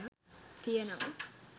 තියෙනවා.